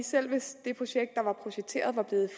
selv hvis det projekt der var projekteret var blevet